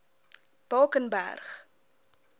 bakenberg